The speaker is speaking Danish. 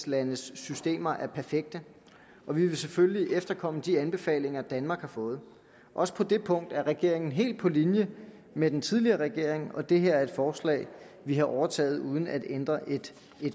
landes systemer er perfekte og vi vil selvfølgelig efterkomme de anbefalinger danmark har fået også på det punkt er regeringen helt på linje med den tidligere regering og det her er et forslag vi har overtaget uden at ændre et